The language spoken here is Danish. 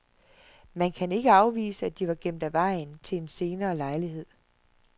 Man kan ikke afvise, at de var gemt af vejen til en senere lejlighed.